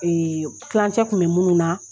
kilancɛ kun bɛ munnu na